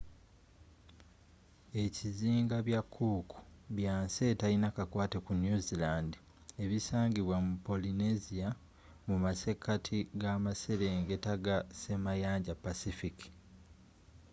ekizinga bya cook byansi etalina kakwate ku new zealand ebisangibwa mu polynesia mumasekati g'amaserengeta ga ssemayanja pacific